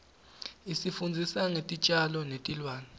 isifundzisa ngetitjalo netilwane